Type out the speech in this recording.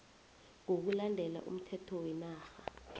ngokulandela umthetho wenarha